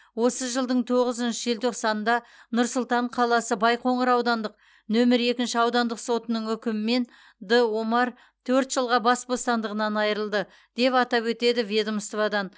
осы жылдың тоғызыншы желтоқсанында нұр сұлтан қаласы байқоңыр аудандық нөмір екінші аудандық сотының үкімімен д омар төрт жылға бас бостандығынан айырылды деп атап өтеді ведомстводан